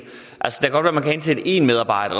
godt være at man kan ansætte en medarbejder